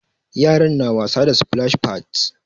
Yaran na ta wasa da splash pads.